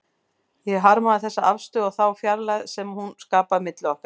Ég harmaði þessa afstöðu og þá fjarlægð sem hún skapaði milli okkar.